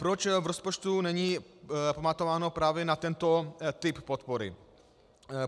Proč v rozpočtu není pamatováno právě na tento typ podpory?